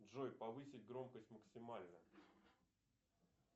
джой повысить громкость максимально